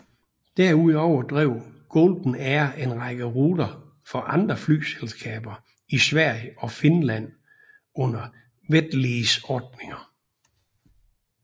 Derudover drev Golden Air en række ruter for andre flyselskaber i Sverige og Finland under wet lease ordninger